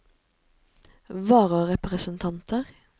vararepresentanter